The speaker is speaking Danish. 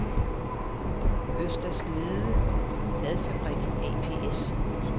Øster Snede Ladfabrik ApS